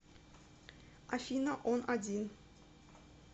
афина он один